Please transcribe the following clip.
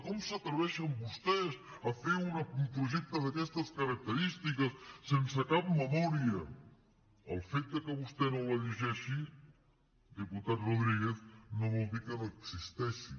com s’atreveixen vostès a fer un projecte d’aquestes característiques sense cap memòria el fet que vostè no la llegeixi diputat rodríguez no vol dir que no existeixi